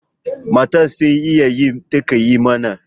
Matar sai iyayi take yi mana